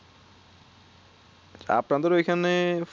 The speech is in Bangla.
আপনাদের ঐখানে